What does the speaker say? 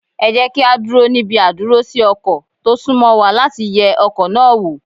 Ẹ jẹ́ kí á dúró níbi àdúrósí ọkọ̀ tó sún mọ́ wa láti yẹ ọkọ̀ náà wò.